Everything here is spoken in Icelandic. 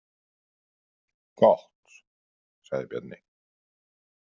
Gott, sagði Bjarni.